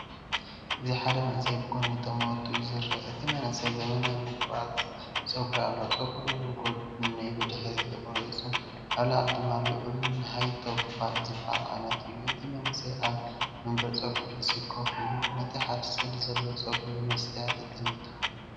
እዚ ሓደ መንእሰይ ብጎኒ ጠመቱ እዩ ዝረአ። እቲ መንእሰይ ዘመናዊ ምቑራጽ ጸጉሪ ኣለዎ። ጸጉሩ ብጐድኑን ብድሕሪትን ተቖሪጹ፡ኣብ ላዕሊ ድማ ልዑልን‘ሃይ-ቶፕ ፋድ’’ዝበሃል ዓይነት እዩ። እቲ መንእሰይ ኣብ መንበር ጸጉሪ ርእሲ ኮፍ ኢሉ፡ነቲ ሓድሽ ቅዲ ዘለዎ ጸጉሩ ብመስትያት ይጥምቶ።